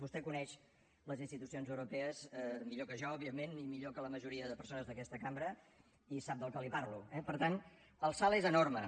vostè coneix les institucions europees millor que jo òbviament i millor que la majoria de persones d’aquesta cambra i sap del que li parlo eh per tant el salt és enorme